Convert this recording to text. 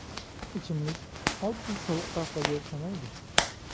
Ichimlik oddiy sovuq qahvaga o‘xshamaydi.